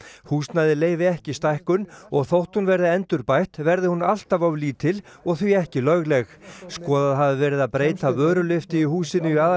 húsnæðið leyfi ekki stækkun og þótt hún verði endurbætt verði hún alltaf of lítil og því ekki lögleg skoðað hafi verið að breyta vörulyftu í húsinu í